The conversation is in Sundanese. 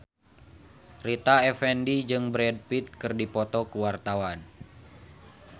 Rita Effendy jeung Brad Pitt keur dipoto ku wartawan